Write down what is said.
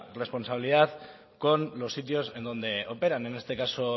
responsabilidad con los sitios en donde operan en este caso